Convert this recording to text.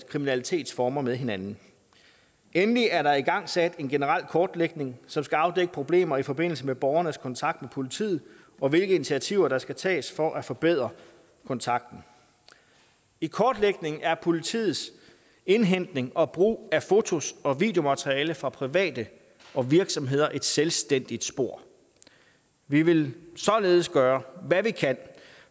kriminalitetsformer med hinanden og endelig er der igangsat en generel kortlægning som skal afdække problemer i forbindelse med borgernes kontakt med politiet og hvilke initiativer der skal tages for at forbedre kontakten i kortlægningen er politiets indhentning og brug af fotos og videomateriale fra private og virksomheder et selvstændigt spor vi vil således gøre hvad vi kan